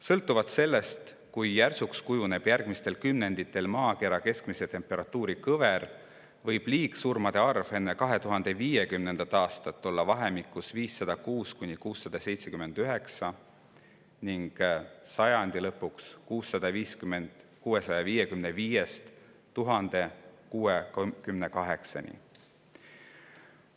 Sõltuvalt sellest, kui järsuks kujuneb järgmistel kümnenditel maakera keskmise temperatuuri kõver, võib liigsurmade arv enne 2050. aastat jõuda vahemikuni 506–679 surma ning sajandi lõpuks 655–1068 surmani.